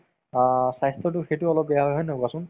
অ, স্ৱাস্থ্যতো সেইটো অলপ বেয়া হয় হয় নে নহয় কোৱাচোন